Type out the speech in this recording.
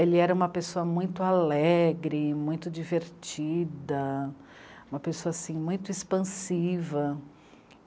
Ele era uma pessoa muito alegre, muito divertida, uma pessoa, assim, muito expansiva.